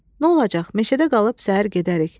Nə olacaq, meşədə qalıb səhər gedərik.